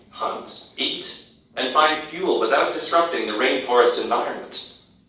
онлайн